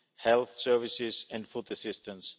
health services and food assistance.